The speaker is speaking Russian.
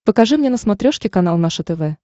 покажи мне на смотрешке канал наше тв